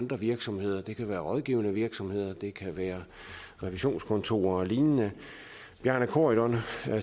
virksomheder det kan være rådgivende virksomheder det kan være revisionskontorer og lignende bjarne corydon